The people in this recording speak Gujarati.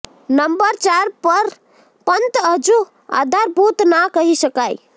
નંબર ચાર પર પંત હજુ આધારભુત ના કહી શકાય